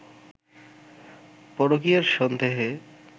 পরকীয়ার সন্দেহে